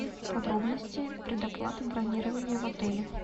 подробности предоплаты бронирования в отеле